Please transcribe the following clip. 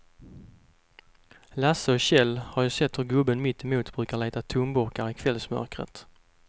Lasse och Kjell har sett hur gubben mittemot brukar leta tomburkar i kvällsmörkret.